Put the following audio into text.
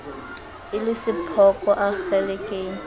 e le sephoko a kgelekenya